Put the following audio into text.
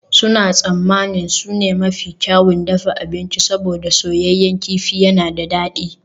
Suna tsammanin su ne mafi kyawun dafa abinci saboda soyayyen kifi yana da dadi